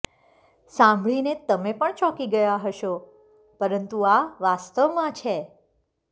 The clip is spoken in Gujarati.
સાંભળીને તમે પણ ચોંકી ગયા હશો પરંતુ આ વાસ્તવમાં છે